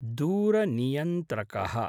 दूरनियन्त्रकः